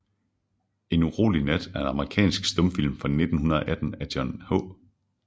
En urolig Nat er en amerikansk stumfilm fra 1918 af John H